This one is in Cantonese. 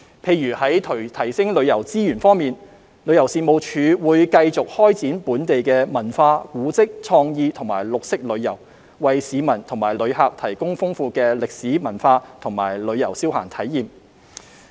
例如在提升旅遊資源方面，旅遊事務署會繼續開展本地文化、古蹟、創意和綠色旅遊，為市民和旅客提供豐富的歷史文化及旅遊消閒體驗。